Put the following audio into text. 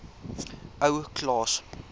ou klaas